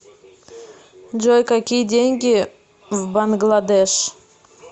джой какие деньги в бангладеш